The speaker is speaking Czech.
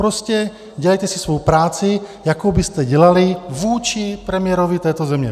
Prostě dělejte si svou práci, jakou byste dělali vůči premiérovi této země.